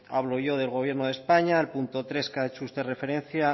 hablo yo del gobierno de españa el punto tres que ha hecho usted referencia